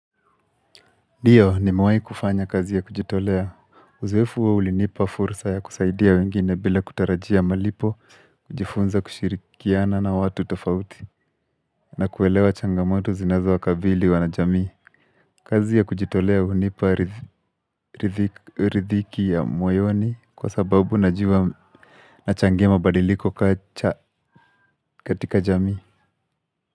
Ndiyo nimewai kufanya kazi ya kujitolea, uzwefu wa ulinipa fursa ya kusaidia wengine bila kutarajia malipo, kujifunza kushirikiana na watu tofauti, na kuelewa changamoto zinazo wakabili wanajamii. Kazi ya kujitolea hunipa ridhiki ya moyoni kwa sababu najua na changema badiliko katika jamii.